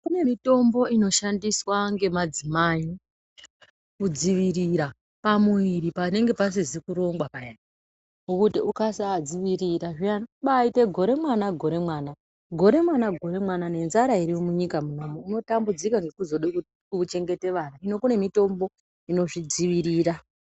Kune mitombo inoshandiswa ngemadzimai kudzivirira pamuviri panenge pasizi kurongwa payani, ngekuti ukasa dzivirira zviyani, unobaite gore mwana, gore mwana, nenzara iriyo munyika munomu unotambudzika ngekuzode kuchengete vana, hino kune mitombo inozvi dzivirira.